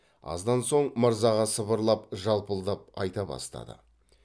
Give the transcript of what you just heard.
аздан соң мырзаға сыбырлап жалпылдап айта бастады